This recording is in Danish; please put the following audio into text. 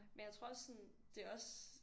Men jeg tror også sådan det er også